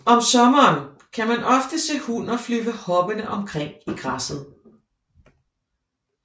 Om sommeren kan man ofte se hunner flyve hoppende omkring i græsset